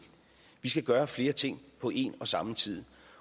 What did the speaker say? vi skal gøre flere ting på en og samme tid